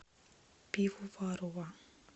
пивоварова